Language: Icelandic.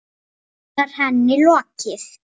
Loks var henni lokið.